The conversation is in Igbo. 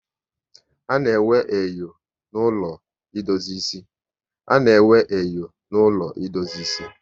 A na-enwe enyo na ụlọ idozi ịsị